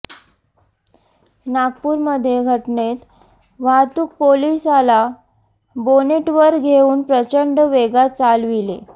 नागपुरमधील घटनेत वाहतुक पोलीसाला बोनेटवर घेऊन प्रचंड वेगात चालविले